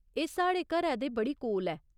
एह् साढ़े घरै दे बड़ी कोल ऐ।